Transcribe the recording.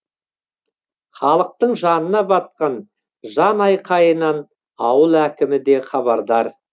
халықтың жанына батқан жанайқайынан ауыл әкімі де хабардар